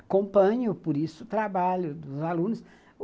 Acompanho, por isso, o trabalho dos alunos.